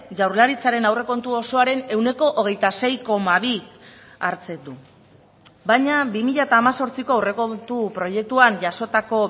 jaurlaritzaren aurrekontu osoaren ehuneko hogeita sei koma bi hartzen du baina bi mila hemezortziko aurrekontu proiektuan jasotako